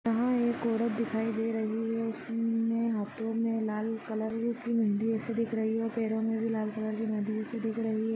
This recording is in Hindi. यहाँ एक औरत दिखाई दे रही है उसने हाथों मे लाल कलर की मेहंदी जैसे दिख रही है और पेड़ों में भी लाल कलर की मेहंदी जैसी दिख रही हैं।